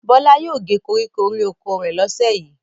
Bọ́lá yóò gé koríko orí oko rẹ̀ lọ́sẹ̀ yìí.